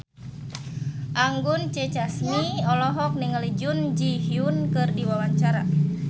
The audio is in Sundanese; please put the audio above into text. Anggun C. Sasmi olohok ningali Jun Ji Hyun keur diwawancara